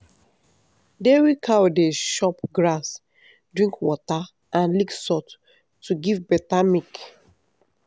dairy cow dey chop grass drink water and lick salt to give better milk.